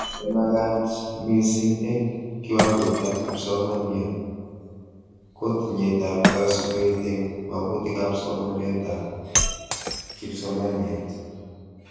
Nemagat mising eng kiwangoitab kipsomaniat:kotinyetab kasubet eng magunetab somanetab kipsomaniat